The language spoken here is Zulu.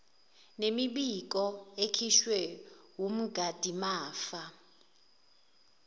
nemibiko ekhishwe wumgadimafa